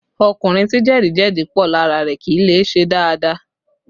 Ọkùnrin tí jẹ̀díjẹ̀dí pọ̀ lára rẹ kì í lè ṣe dáadáa